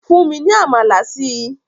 Fùn mi ni àmalà sìí!